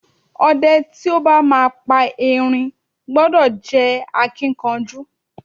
O̩de̩ tí ó bá máa pa erin gbo̩do̩ jé̩ akínkanjú.